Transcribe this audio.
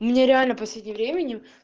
мне реально последнем временем